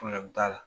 t'a la